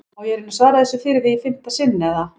Á ég að reyna að svara þessu fyrir þig í fimmta sinn eða?